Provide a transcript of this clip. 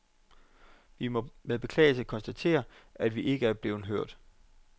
Vi må med beklagelse konstatere, at vi ikke er blevet hørt.